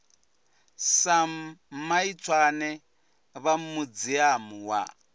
sam maitswane vha muziamu wa